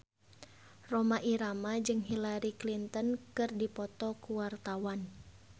Rhoma Irama jeung Hillary Clinton keur dipoto ku wartawan